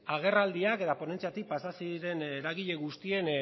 agerraldiak eta ponentziatik pasa ziren eragile guztien